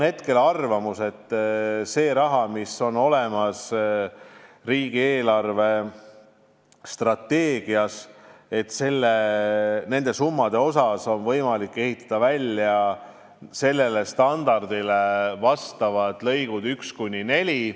Hetkel on arvamus, et selle raha eest, mis on olemas riigi eelarvestrateegias, on võimalik ehitada välja standardile vastavad lõigud 1–4.